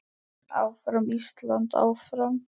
Áfram Ísland, áfram.